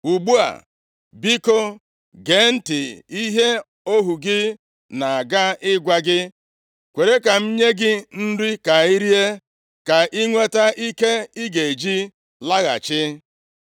Ugbu a, biko, gee ntị nʼihe ohu gị na-aga ịgwa gị. Kwere ka m nye gị nri ka i rie, ka i nweta ike ị ga-eji laghachi.”